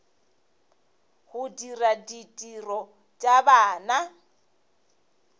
go dira ditiro tša bana